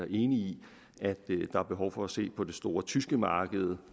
enig i at der er behov for at se på det store tyske marked